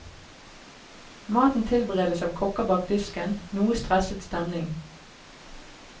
Maten tilberedes av kokker bak disken, noe stresset stemning.